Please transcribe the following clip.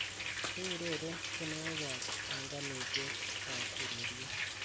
keureren tienywogik eng panganitiet ab ureryet